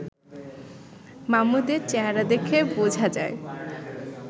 মামুদের চেহারা দেখে বোঝা যায়